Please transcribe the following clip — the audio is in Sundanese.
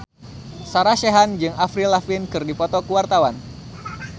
Sarah Sechan jeung Avril Lavigne keur dipoto ku wartawan